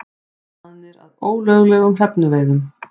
Staðnir að ólöglegum hrefnuveiðum